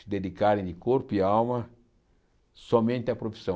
se dedicarem de corpo e alma somente à profissão.